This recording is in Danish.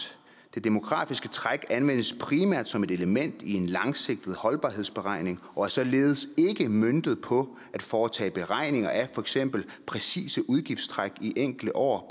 det demografiske træk anvendes primært som et element i en langsigtet holdbarhedsberegning og er således ikke møntet på at foretage beregninger af fx det præcise udgiftstræk i enkelte år